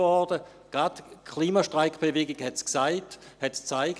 Gerade die Klimastreikbewegung hat es gezeigt: